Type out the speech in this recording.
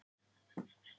stutta svarið er nei